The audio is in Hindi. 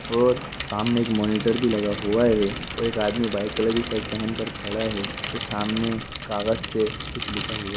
और सामने एक मॉनिटर भी लगा हुआ है और एक आदमी व्हाइट कलर की शर्ट पेहेन कर खड़ा है। सामने कागज से कुछ लिखा हुआ --